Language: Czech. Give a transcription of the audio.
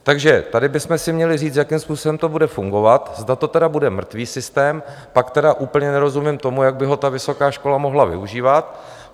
Takže tady bychom si měli říct, jakým způsobem to bude fungovat, zda to tedy bude mrtvý systém, pak tedy úplně nerozumím tomu, jak by ho ta vysoká škola mohla využívat.